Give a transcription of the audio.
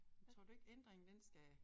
Men tror du ikke ændringen den skal